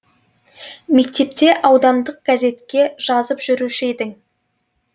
мектепте аудандық газетке жазып жүруші едің